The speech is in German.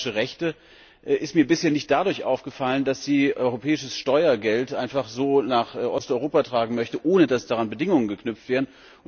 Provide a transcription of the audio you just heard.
Die österreichische Rechte ist mir bisher nicht dadurch aufgefallen, dass sie europäisches Steuergeld einfach so nach Osteuropa tragen möchte, ohne dass daran Bedingungen geknüpft wären.